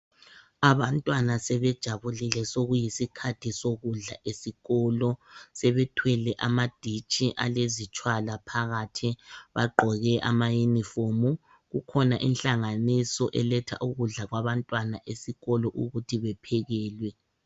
Abantwana sebejabulile sokuyisikhathi sokudla esikolo. Sebethwele amanditshi alezitshwala phakathi bagqoke ama uniform. Kukhona inhlanganiso eletha ukudla kwabantwana esikolo ukuthi bephekelwe.